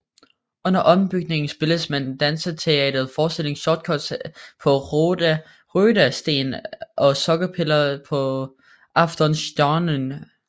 Under ombygningen spillede man danseteaterforestillingen Shortcuts på Röda Sten og Sockerpiller på Aftonstjärnan